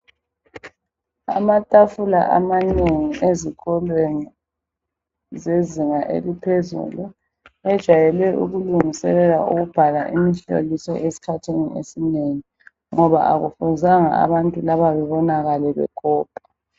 Amatafula amanengi ezikolweni zezinga eliphezulu bajayele ukulungiselela ukubhala imihloliso esikhathini esinengi ngoba akufuzanga abantu laba bebonakale bekopa.